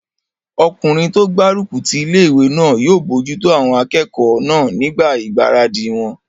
Ọkùnrin tó gbárùkù ti ilé-ìwé náà yóò bojútó àwọn akẹ́kọ̀ọ́ náà nígbà ìgbáradì wọn